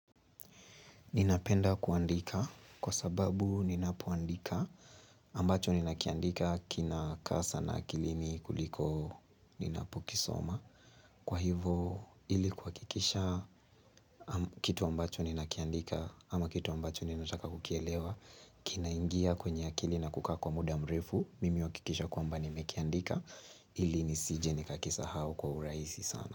Ninapenda kuandika kwa sababu ninapoandika ambacho ninakiandika kina kaa sana akilini kuliko ninapokisoma. Kwa hivo ili kuhakikisha kitu ambacho ninakiandika ama kitu ambacho ninataka kukielewa kina ingia kwenye akili na kukaa kwa muda mrefu. Mimi uhakikishe kwamba ni mekiandika ili nisije nikakisa hau kwa urahisi sana.